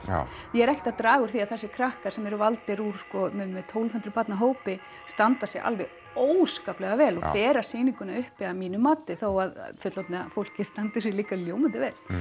ég er ekkert að draga úr því að þessir krakkar sem eru valdir úr sko minnir mig tólf hundruð barna hópi standa sig alveg óskaplega vel og bera sýninguna uppi að mínu mati þó að fullorðna fólkið standi sig líka ljómandi vel